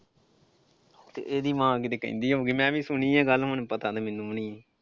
ਤੇ ਇਹਦੀ ਮਾਂ ਕਿਤੇ ਕਹਿੰਦੀ ਹੋਊਗੀ ਮੈਂ ਵੀ ਸੁਣੀ ਆ ਗੱਲ ਹੁਣ ਪਤਾ ਤੇ ਮੈਨੂੰ ਵੀ ਨਈਂ.